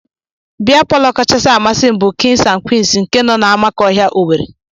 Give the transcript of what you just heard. Bịa palọ kachasị masị m bụ Kings and queens nke nọ n'amakọhịa, Owerri.